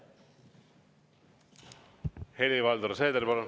Helir-Valdor Seeder, palun!